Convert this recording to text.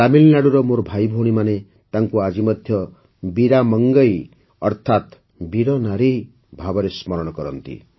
ତାମିଲନାଡ଼ୁର ମୋର ଭାଇ ଭଉଣୀମାନେ ତାଙ୍କୁ ଆଜି ମଧ୍ୟ ବୀରା ମଂଗଇ ଅର୍ଥାତ୍ ବୀର ନାରୀ ଭାବରେ ସ୍ମରଣ କରନ୍ତି